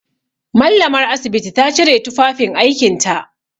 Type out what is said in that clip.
Mallamar asibiti ta cire tufafin aikinta.